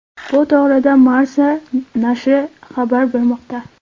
Bu to‘g‘rida Marca nashri xabar bermoqda .